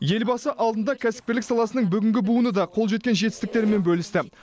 елбасы алдында кәсіпкерлік саласының бүгінгі буыны да қол жеткен жетістіктерімен бөлісті